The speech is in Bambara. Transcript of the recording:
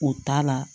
O t'a la